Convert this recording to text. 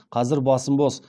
қазір басым бос